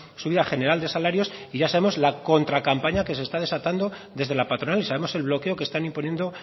subida general de salarios y ya sabemos la contracampaña que se está desatando desde la patronal y sabemos el bloqueo que están imponiendo